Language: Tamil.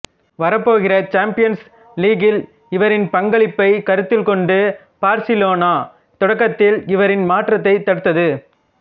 வரப்போகிற சாம்பியன்ஸ் லீக்கில் இவரின் பங்களிப்பை கருத்தில் கொண்டு பார்சிலோனா தொடக்கத்தில் இவரின் மாற்றத்தைத் தடுத்தது